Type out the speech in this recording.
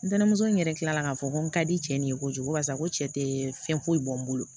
N tɛnɛnɛmuso n yɛrɛ kila la ka fɔ ko n ka di cɛ de ye kojugu barisa n ko cɛ tɛ fɛn foyi bɔ n bolo